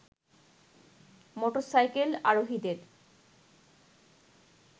motorcycle আরোহীদের